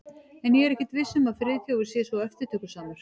En ég er ekkert viss um að Friðþjófur sé svo eftirtökusamur.